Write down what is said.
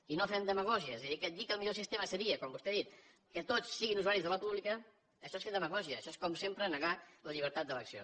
i no fem demagògies i dir que el millor sistema seria com vostè ha dit que tots siguin usuaris de la pública això és fer demagògia això és com sempre negar la llibertat d’elecció